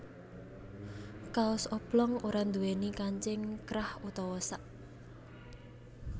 Kaos oblong ora nduwèni kancing krah utawa sak